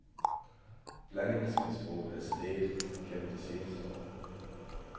Blandingsmisbruget er steget gennem de seneste år.